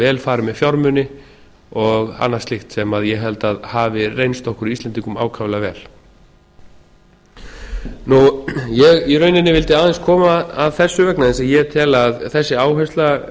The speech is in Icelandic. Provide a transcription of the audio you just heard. vel farið með fjármuni og annað slíkt sem ég held að hafi reynst okkur íslendingum ákaflega vel ég vildi í rauninni aðeins koma að þessu vegna þess að ég tel að þessi áhersla